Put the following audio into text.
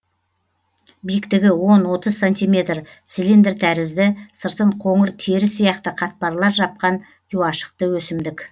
биіктігі он отыз сантиметр цилиндр тәрізді сыртын қоңыр тері сияқты қатпарлар жапқан жуашықты өсімдік